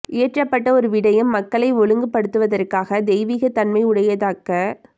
இயற்றப்பட்ட ஒரு விடயம் மக்களை ஒழுங்கு படுத்துவதற்காக தெய்வீகத்தன்மையுடையதாக்கப்